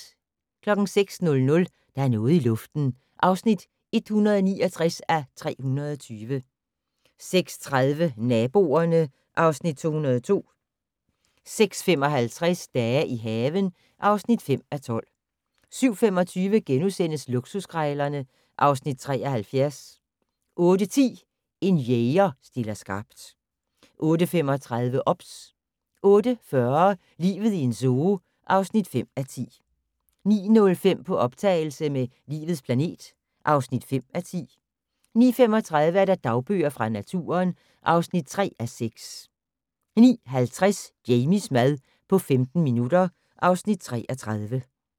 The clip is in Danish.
06:00: Der er noget i luften (169:320) 06:30: Naboerne (Afs. 202) 06:55: Dage i haven (5:12) 07:25: Luksuskrejlerne (Afs. 73)* 08:10: En jæger stiller skarpt 08:35: OBS 08:40: Livet i en zoo (5:10) 09:05: På optagelse med "Livets planet" (5:10) 09:35: Dagbøger fra naturen (3:6) 09:50: Jamies mad på 15 minutter (Afs. 33)